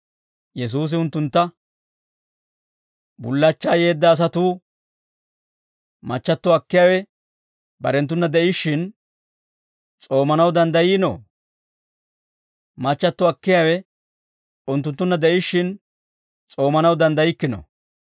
Yesuusi unttuntta «Bullachchaa yeedda asatuu machchatto akkiyaawe barenttuna de'ishshin, s'oomanaw danddayiinoo? Machchatto akkiyaawe unttunttunna de'ishshin, s'oomanaw danddaykkino.